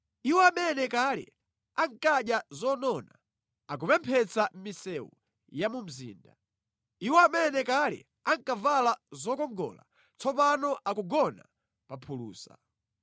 Iwo amene kale ankadya zonona akupemphetsa mʼmisewu ya mu mzinda. Iwo amene kale ankavala zokongola tsopano akugona pa phulusa.